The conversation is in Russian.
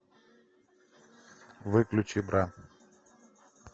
выключи бра